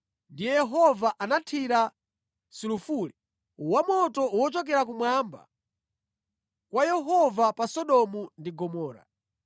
Ndiye Yehova anathira sulufule wamoto wochokera kumwamba kwa Yehova pa Sodomu ndi Gomora.